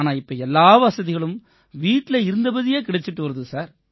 ஆனா இப்ப எல்லா வசதிகளும் வீட்டில இருந்தபடியே கிடைச்சுட்டு வருது